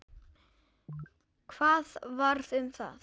Hvað varð um það?